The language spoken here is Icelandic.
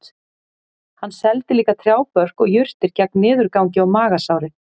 Hann seldi líka trjábörk og jurtir gegn niðurgangi og magasári